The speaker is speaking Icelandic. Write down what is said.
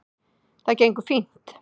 Það gengur fínt